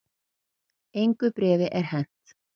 Engu bréfi er hent